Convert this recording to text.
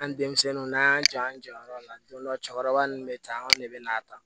An denmisɛnninw n'an y'an jɔ an jɔyɔrɔ la don dɔ la cɛkɔrɔba ninnu bɛ taa anw de bɛ na ta